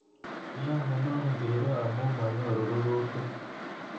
Kiyai komakosirei amu manyori rurutik